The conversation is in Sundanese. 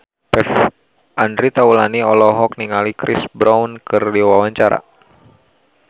Andre Taulany olohok ningali Chris Brown keur diwawancara